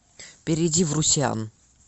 перейди в русеан